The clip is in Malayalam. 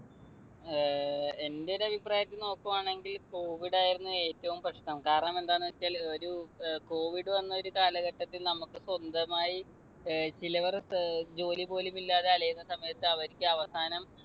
ഏർ എന്റെ ഒരു അഭിപ്രായത്തിൽ നോക്കുവാണെങ്കിൽ covid ആയിരുന്നു ഏറ്റവും പ്രശ്‌നം. കാരണം എന്താന്നുവെച്ചാൽ ഒരു covid വന്ന ഒരു കാലഘട്ടത്തിൽ നമുക്ക് സ്വന്തമായി ഏർ ചിലർ ജോലി പോലും ഇല്ലാതെ അലയുന്ന സമയത്ത് അവര്ക്ക് അവസാനം